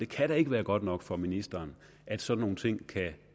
kan da ikke være godt nok for ministeren at sådan nogle ting kan